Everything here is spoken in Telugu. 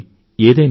ఏదైనా